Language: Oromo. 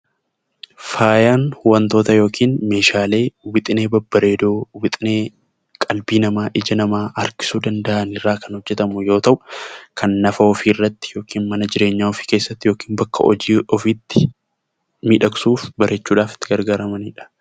Faayaan waantota yookiin Meeshaalee wixinee babbareedoo, wixinee qalbii namaa, ija namaa harkisuu danda'aniin kan hojjetamu yoo ta'u, dhaqna ofii irratti yookiin mana jireenyaa ofii keessatti yookiin bakka hojii ofiitti miidhagsuuf, bareechuudhaaf itti gargaaramanidha.